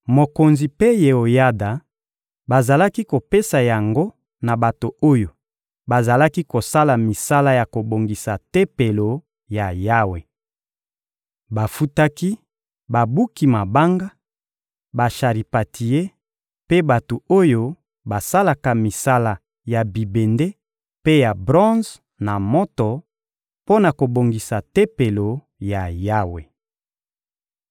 Mokonzi mpe Yeoyada bazalaki kopesa yango na bato oyo bazalaki kosala misala ya kobongisa Tempelo ya Yawe. Bafutaki babuki mabanga, basharipantie mpe bato oyo basalaka misala ya bibende mpe ya bronze na moto, mpo na kobongisa Tempelo ya Yawe.